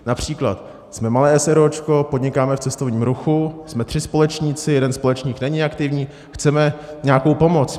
Například: Jsme malé eseróčko, podnikáme v cestovním ruchu, jsme tři společníci, jeden společník není aktivní, chceme nějakou pomoc.